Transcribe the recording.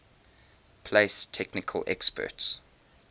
place technical experts